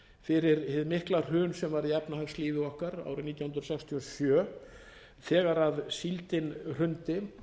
fyrir hið mikla hrun sem varð í efnahagslífi okkar árið nítján hundruð sextíu og sjö þegar síldin hrundi